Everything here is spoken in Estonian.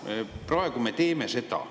Ometi praegu me teeme seda.